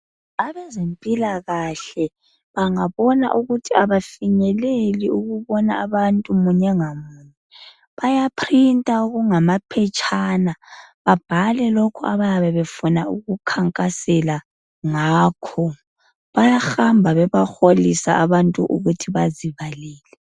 Abezempilakahle bangabona ukuthi abafinyeleli ukubona abantu munye ngamunye bayaprinter okungamaphetshana babhale lokhu abayabe befuna ukukhankasela ngakho. Bayahamba bebaholisa abantu ukuthi bazibalele.